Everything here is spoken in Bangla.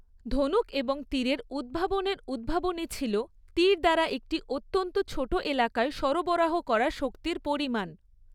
ধনুক এবং তীরের উদ্ভাবনের উদ্ভাবনী ছিল তীর দ্বারা একটি অত্যন্ত ছোট এলাকায় সরবরাহ করা শক্তির পরিমাণ।